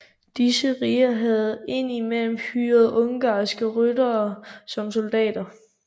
Disse riger havde ind imellem hyret ungarske ryttere som soldater